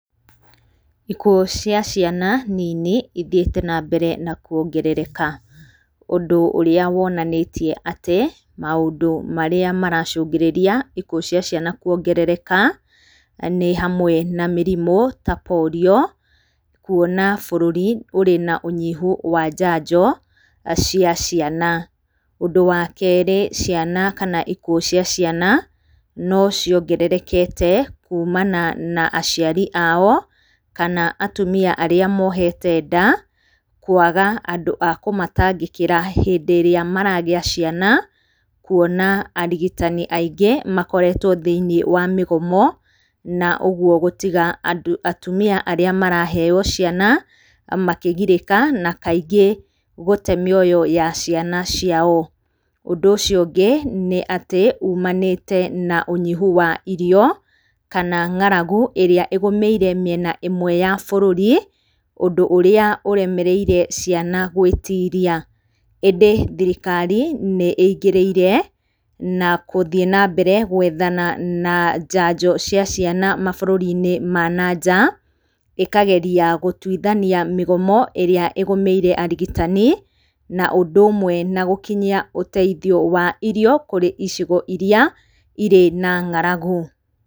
Ikuũ cia ciana nini ithiĩte nambere na kuongerereka. Ũndũ ũrĩa wonanĩtie atĩ maũndũ marĩa maracũngĩrĩria ikuũ cia ciana kuongerereka nĩ hamwe na mĩrimũ ta polio, kuona bũrũri ũrĩ na ũnyihu wa njanjo cia ciana. Ũndũ wa keri, ciana kana ikuũ cia ciana no ciongererekete kuumana na aciari ao, kana atumia arĩa moohete nda, kũaga andũ a kũmatangĩkira hĩndĩ ĩrĩa maragĩa ciana, kũona arigitani aingĩ makoretwo thĩiniĩ wa mĩgomo na ũguo gũtiga andũ atumia arĩa maraheo ciana makĩgirĩka na kaingĩ gũte mĩoyo ya ciana ciao. Ũndũ ũcio ũngĩ nĩ atĩ uumanĩte na ũnyihu wa irio kana ng'aragu, ĩrĩa ĩgũmĩire mĩena ĩmwe ya bũrũri, ũndũ ũrĩa ũremereire ciana gwĩtiria. Hĩndĩ thirikari nĩ ĩingĩrĩire na kũthiĩ nambere gwethana na njanjo cia ciana mabũrũri-inĩ ma na nja. Ikageria gũtuithania mĩgomo ĩrĩa ĩgũmĩire arigitani, na ũndũ ũmwe na gũkinyia ũteithio wa irio kũrĩ icigo iria irĩ na ng'aragu.